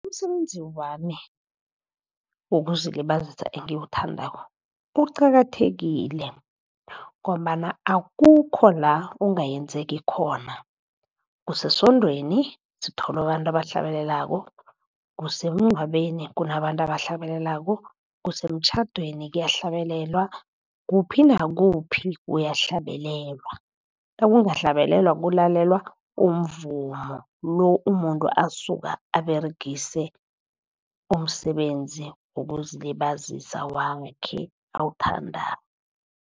Umsebenzi wami wokuzilibazisa engiwuthandako uqakathekile, ngombana akukho la ungayenzeki khona. Kusesondweni sithola abantu abahlabelelako, kusemngcwabeni kunabantu abahlabelelako, kusemtjhadweni kuyahlabelelwa. Kuphi nakuphi kuyahlabelelwa, nakungahlabelelwa kulalelwa umvumo lo umuntu asuka aberegise umsebenzi wokuzilibazisa wakhe awuthandako.